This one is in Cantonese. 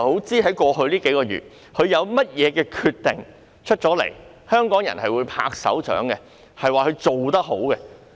她在過去數月有甚麼決定，是香港人會拍掌說她做得好的？